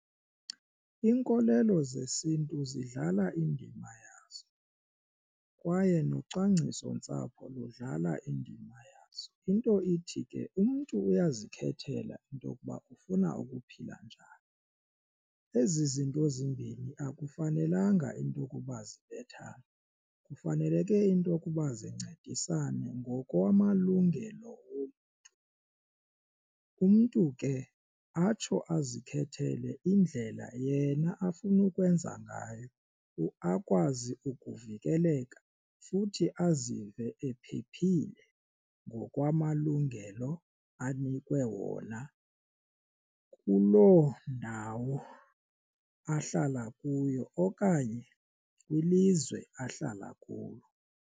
Iinkolelo zesintu zidlala indima yazo kwaye nocwangciso ntsapho ludlala indima yazo into ithi ke umntu uyazikhethela into okuba ufuna ukuphila njani. Ezi zinto zimbini akufanelanga into okuba zibethane kufaneleke intokuba zincedisane ngokwamalungelo omntu. Umntu ke atsho azikhethele indlela yena afuna ukwenza ngayo akwazi ukuvikeleka futhi azive ephephile ngokwamalungelo anikwe wona kuloo ndawo ahlala kuyo okanye kwilizwe ahlala kulo.